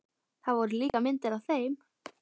Það voru líka myndir af þeim.